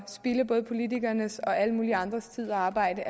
ikke både politikernes og alle mulige andres tid og arbejde